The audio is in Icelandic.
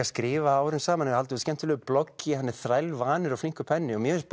skrifa árum saman hefur haldið út skemmtilegu bloggi hann er þrælvanur og flinkur penni og mér finnst